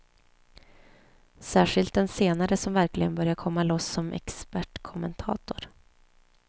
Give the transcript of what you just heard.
Särskilt den senare som verkligen börjar komma loss som expertkommentator.